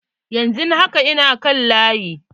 Yanzu haka, ina kan layi.